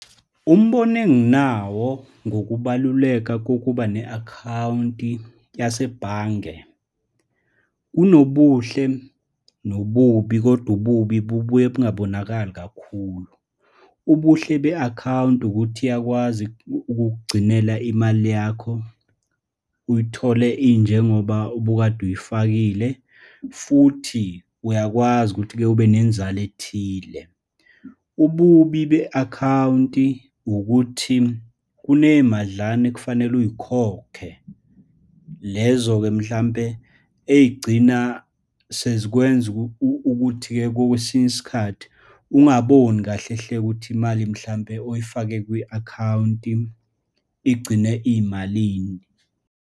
Umbono enginawo ngokubaluleka kokuba ne-akhawunti yasebhange, kunobuhle nobubi, kodwa ububi bubuye bungabonakali kakhulu. Ubuhle be-akhawunti ukuthi, iyakwazi ukukugcinela imali yakho, uyithole injengoba ubukade uyifakile, futhi uyakwazi ukuthi-ke ube nenzalo ethile. Ububi be-akhawunti ukuthi, kuneyimadlana ekufanele uy'khokhe, lezo-ke mhlampe, ey'gcina sezikwenza ukuthi-ke kwesinye isikhathi ungaboni kahle hle ukuthi imali, mhlampe oyifake kwi-akhawunti, igcine iyimalini.